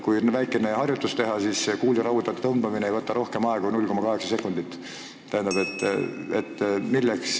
Kui väikene harjutus teha, siis see kuuli rauda tõmbamine ei võta rohkem aega kui 0,8 sekundit.